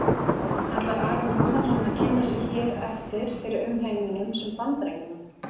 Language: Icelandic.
Ætlar Aron Jóhannsson að kynna sig hér eftir fyrir umheiminum sem Bandaríkjamann?